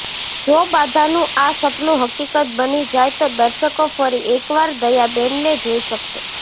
જો બાઘાનું આ સપનું હકીકત બની જાય તો દર્શકો ફરી એકવાર દયાબેનને જોઇ શકશે